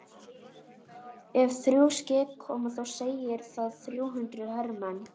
Ef þrjú skip koma þá segir það þrjú hundruð hermenn.